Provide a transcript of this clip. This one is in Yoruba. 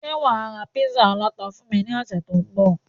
Ṣé wà á ra Písà aláta fún mi ní ọ̀sẹ̀ tó ń bọ̀?